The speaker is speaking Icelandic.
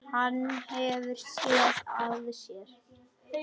Hann hefur SÉÐ AÐ SÉR.